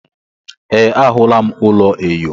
Ee, ahụla m ụlọ enyo.